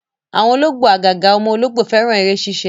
Àwọn ológbò àgàgà ọmọ ológbò, fẹ́ràn eré ṣíṣe